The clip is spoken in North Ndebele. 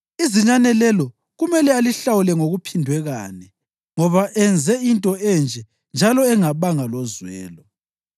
Izinyane lelo kumele alihlawule ngokuphindwe kane, ngoba enze into enje njalo engabanga lozwelo.”